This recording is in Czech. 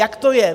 Jak to je?